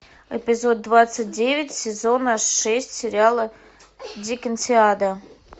эпизод двадцать девять сезона шесть сериала диккенсиада